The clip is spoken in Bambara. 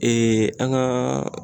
an kaaa